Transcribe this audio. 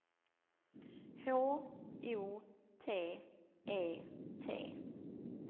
H O T E T